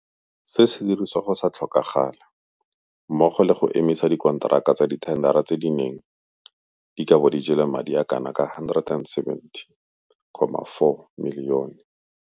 se dirisiwe go sa tlhokagale, mmogo le go emisa dikonteraka tsa dithendara tse di neng di ka bo di jele madi a le kanaka R170.4 milione.